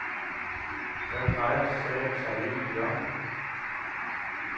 Hvad drejer sagen sig egentlig om?